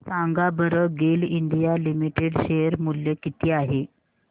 सांगा बरं GAIL India limited share मूल्य किती आहे